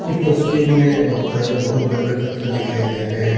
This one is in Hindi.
इस तस्वीर में बहुत सारे बहुत बड़े बड़े पत्थर दिखाई दे रहे हैं।